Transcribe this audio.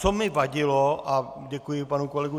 Co mi vadilo, a děkuji panu kolegovi